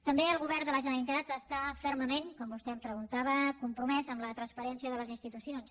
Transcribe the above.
també el govern de la generalitat està fermament com vostè em preguntava compromès amb la transparència de les institucions